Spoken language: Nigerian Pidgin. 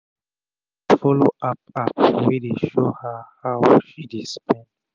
she dey follow app app wey dey show her how she dey spend